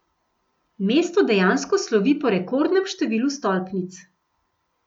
Mesto dejansko slovi po rekordnem številu stolpnic.